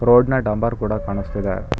Road ನ ಡಂಬರ್ ಕೂಡ ಕಾಣಿಸ್ತಿದೆ.